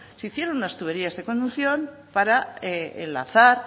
se hicieron unas tuberías de conducción para enlazar